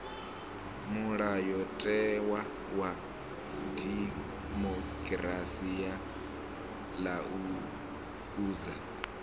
mulayotewa wa dimokirasi wa laedza